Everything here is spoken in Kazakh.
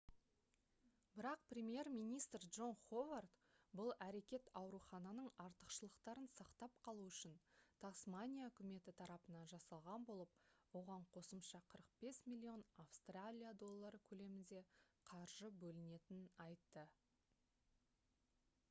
бірақ премьер-министр джон ховард бұл әрекет аурухананың артықшылықтарын сақтап қалу үшін тасмания үкіметі тарапынан жасалған болып оған қосымша 45 миллион австралия доллары көлемінде қаржы бөлінетінін айтты